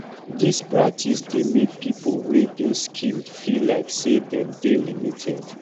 this practice dey make pipo wey dey skilled feel like sey dem dey limited